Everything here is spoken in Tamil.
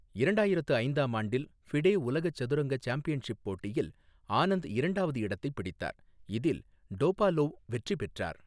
இரண்டாயிரத்து ஐந்தாம் ஆண்டில், ஃபிடே உலக சதுரங்க சாம்பியன்ஷிப் போட்டியில், ஆனந்த் இரண்டாவது இடத்தைப் பிடித்தார், இதில் டோபாலோவ் வெற்றி பெற்றார்.